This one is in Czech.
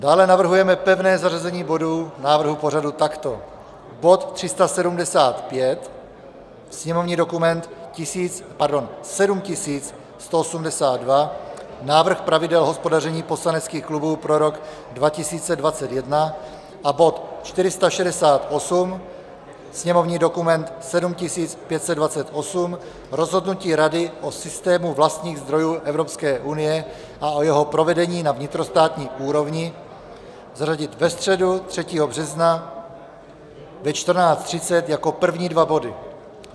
Dále navrhujeme pevné zařazení bodů návrhu pořadu takto: bod 375, sněmovní dokument 7182, Návrh pravidel hospodaření poslaneckých klubů pro rok 2021, a bod 468, sněmovní dokument 7528, Rozhodnutí Rady o systému vlastních zdrojů Evropské unie a o jeho provedení na vnitrostátní úrovni, zařadit ve středu 3. března ve 14.30 jako první dva body.